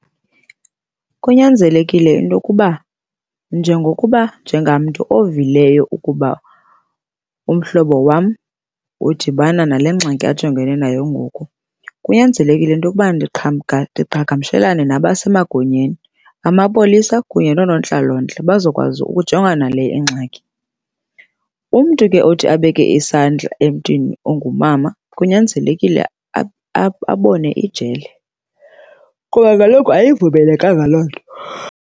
Kunyanzelekile into yokuba njengokuba njengamntu ovileyo ukuba umhlobo wam udibana nale ngxaki ajongene nayo ngoku, kunyanzelekile into yokuba ndiqhagamshelane nabasemagunyeni, amapolisa kunye noonontlalontle, bazokwazi ukujongana nale ingxaki. Umntu ke othi abeke isandla emntwini ongumama kunyanzelekile abone ijele kuba kaloku ayivumelekanga loo nto.